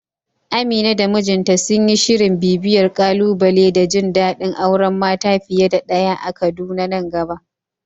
Amina da mijinta sun yi shirin bibiyar ƙalubale da jin dadin auren mata fiye da daya a Kaduna nan gaba.